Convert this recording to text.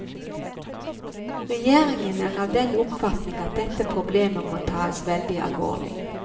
Regjeringen er av den oppfatning at dette problemet må taes veldig alvorlig.